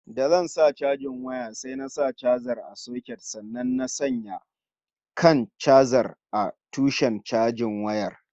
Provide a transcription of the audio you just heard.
Da zan sa chajin waya sai na sa chajar a soket sannan na sanya kan chajar a tushen chajin wayar